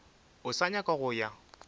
o sa nyaka go ya